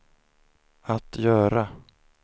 att göra